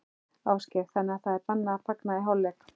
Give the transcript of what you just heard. Ásgeir: Þannig að það er bannað að fagna í hálfleik?